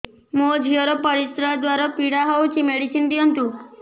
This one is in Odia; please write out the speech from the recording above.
ମୋ ଝିଅ ର ପରିସ୍ରା ଦ୍ଵାର ପୀଡା ହଉଚି ମେଡିସିନ ଦିଅନ୍ତୁ